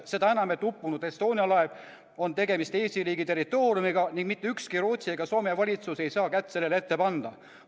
Seda enam, et uppunud Estonia laev on Eesti riigi territoorium ning mitte ükski Rootsi ega Soome valitsus ei saa kätt sellele ette panna.